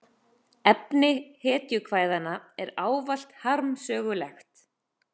Efni hetjukvæðanna er ávallt harmsögulegt.